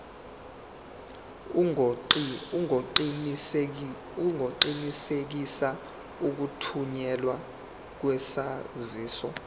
ungaqinisekisa ukuthunyelwa kwesaziso